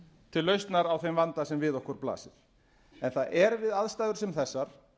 til lausnar á þeim vanda sem nokkur blasa en það er við aðstæður sem þessar